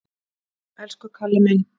Elsku Kalli minn!